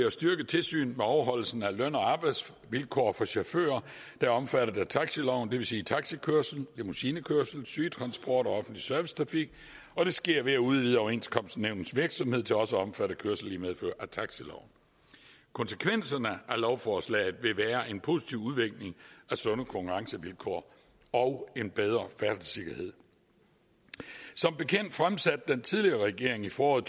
at styrke tilsynet med overholdelsen af løn og arbejdsvilkår for chauffører der er omfattet af taxiloven det vil sige taxikørsel limousinekørsel sygetransport og offentlig servicetrafik og det sker ved at udvide overenskomstnævnets virksomhed til også at omfatte kørsel i medfør af taxiloven konsekvenserne af lovforslaget vil være en positiv udvikling af sunde konkurrencevilkår og en bedre færdselssikkerhed som bekendt fremsatte den tidligere regering i foråret